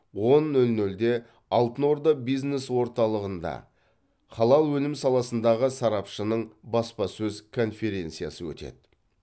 он нөл нөлде алтын орда бизнес орталығынжа халал өнім саласындағы сарапшының баспасөз конференциясы өтеді